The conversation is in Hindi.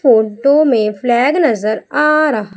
फोटो में फ्लैग नजर आ रहा--